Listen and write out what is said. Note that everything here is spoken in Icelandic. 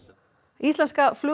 íslenska